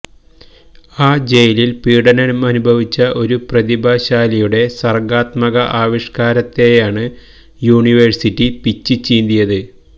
ആ ജയിലില് പീഡനമനുഭവിച്ച ഒരു പ്രതിഭാശാലിയുടെ സര്ഗാത്മക ആവിഷ്കാരത്തെയാണ് യൂനിവേഴ്സിറ്റി പിച്ചിച്ചീന്തിയത്